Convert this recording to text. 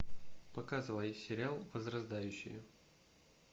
показывай сериал возрождающие